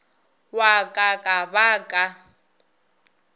wa ka ka ba ka